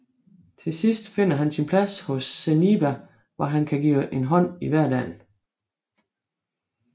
Til sidst finder han sin plads hos Zeniba hvor han kan give en hånd i hverdagen